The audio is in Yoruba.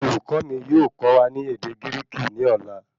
Olùkọ̀ọ́ mì yóò kọ wa ní ède Gíríkì ní ọ̀la